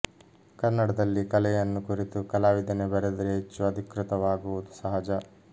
ಕನ್ನಡದಲ್ಲಿ ಕಲೆಯನ್ನು ಕುರಿತು ಕಲಾವಿದನೇ ಬರೆದರೆ ಹೆಚ್ಚು ಅಧಿಕೃತವಾಗುವುದು ಸಹಜ